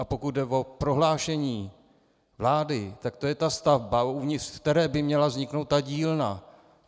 A pokud jde o prohlášení vlády, tak to je ta stavba, uvnitř které by měla vzniknout ta dílna.